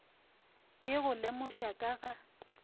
e go lemoša ka ga